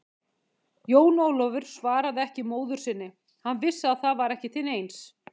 Jón Ólafur svaraði ekki móður sinni, hann vissi að það var ekki til neins.